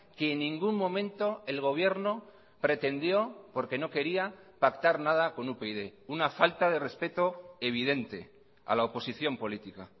que en ningún momento el gobierno pretendió porque no quería pactar nada con upyd una falta de respeto evidente a la oposición política